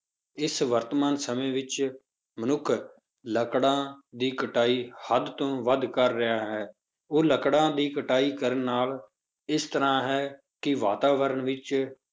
ਇਸ ਵਰਤਮਾਨ ਸਮੇਂ ਵਿੱਚ ਮਨੁੱਖ ਲੱਕੜਾਂ ਦੀ ਕਟਾਈ ਹੱਦ ਤੋਂ ਵੱਧ ਕਰ ਰਿਹਾ ਹੈ, ਉਹ ਲੱਕੜਾਂ ਦੀ ਕਟਾਈ ਕਰਨ ਨਾਲ ਇਸ ਤਰ੍ਹਾਂ ਹੈ ਕਿ ਵਾਤਾਵਰਨ ਵਿੱਚ